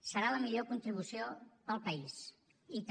serà la millor contribució per al país i també